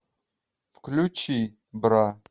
включи бра